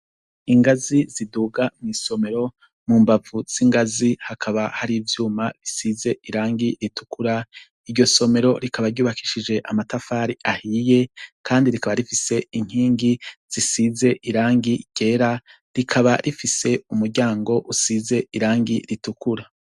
Ingazi ziduga mwisomero mumbavu zingazi hakaba hari ivyuma bisize irangi zitukura iryo somero rikaba ryubakishije amatafari ahiye kandi rikaba rifise inkingi risize irangi ryera rikaba rifise umuryango usize irangi ritukuru